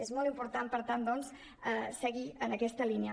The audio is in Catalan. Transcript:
és molt important per tant doncs seguir en aquesta línia